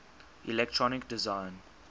electronic design